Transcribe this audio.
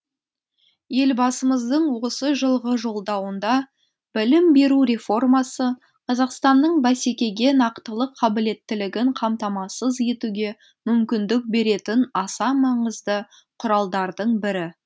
елбасымыздың осы жылғы жолдауында білім беру реформасы қазақстанның бәсекеге нақтылы қабілеттілігін қамтамасыз етуге мүмкіндік беретін аса маңызды құралдардың бірі